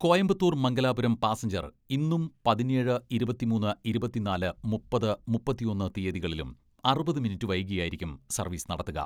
Coimbatore Mangalapuram passenger ഇന്നും പതിനേഴ്, ഇരുപത്തിമൂന്ന്, ഇരുപത്തിനാല്, മുപ്പത്, മുപ്പത്തൊന്ന് തിയതികളിലും അറുപത് മിനിറ്റ് വൈകിയായിരിക്കും സർവ്വീസ് നടത്തുക.